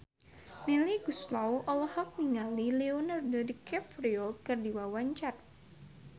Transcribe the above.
Melly Goeslaw olohok ningali Leonardo DiCaprio keur diwawancara